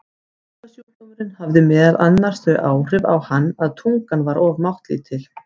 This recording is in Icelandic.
Taugasjúkdómurinn hafði meðal annars þau áhrif á hann að tungan var oft máttlítil.